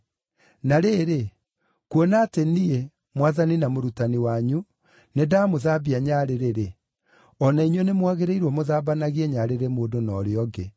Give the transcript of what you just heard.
Na rĩrĩ, kuona atĩ Niĩ, Mwathani na Mũrutani wanyu, nĩndamũthambia nyarĩrĩ-rĩ, o na inyuĩ nĩmwagĩrĩirwo mũthambanagie nyarĩrĩ mũndũ na ũrĩa ũngĩ.